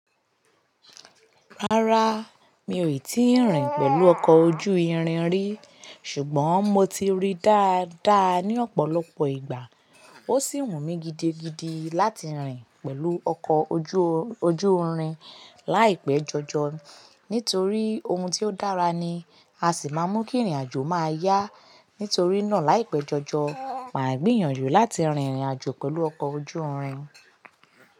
Rárá mi ò tíì rìn pẹ̀lú ọkọ̀ ojú irin rí ṣùgbọ́n mo ti rí dáadáa ní ọ̀pọ̀lọpọ̀ ìgbà. Ó sì wù mí gidigidi láti rìn pẹ̀lú ọkọ̀ ojú irin láìpẹ́ jọjọ nítorí ohun tó dára ni a sì máa mú kí ìrìnàjò máa yá. Nítorí náà láìpẹ́ jọjọ màá gbìyànjú láti rìn ìrìnàjò pẹ̀lú ọkọ̀ ojú irin.